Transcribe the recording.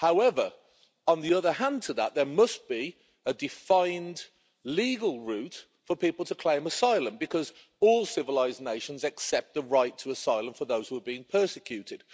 However, on the other hand to that, there must be a defined legal route for people to claim asylum because all civilised nations accept the right to asylum for those who are being persecuted.